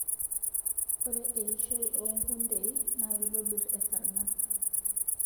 Ore eishoii oo kundeii na kitobir esarngab